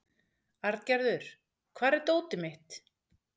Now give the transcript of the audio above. Arngerður, hvar er dótið mitt?